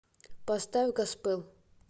поставь госпел